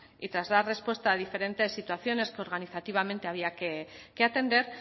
y tras dar respuesta a diferente situaciones que organizativamente había que atender